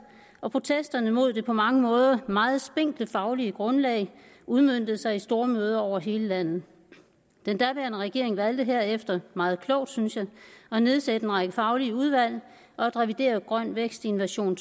og protesterne mod det på mange måder meget spinkle faglige grundlag udmøntede sig i stormøder over hele landet den daværende regering valgte herefter meget klogt synes jeg at nedsætte en række faglige udvalg og at revidere grøn vækst i en version